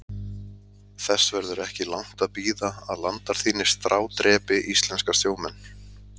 Þess verður ekki langt að bíða að landar þínir strádrepi íslenska sjómenn.